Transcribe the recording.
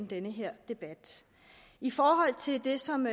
den her debat i forhold til det som